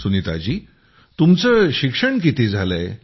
सुनीताजी तुमचं शिक्षण किती झालंय